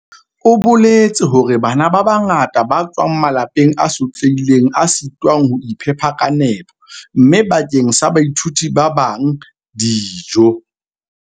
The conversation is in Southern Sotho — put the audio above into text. O boletse hore "Bana ba bangata ba tswa malapeng a sotlehileng a sitwang ho iphepa ka nepo, mme bakeng sa baithuti ba bang, dijo"